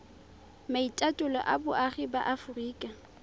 maitatolo a boagi ba aforika